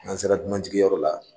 N'an sera dunanjigiyɔrɔ la